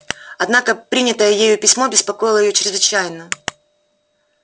однако принятое ею письмо беспокоило её чрезвычайно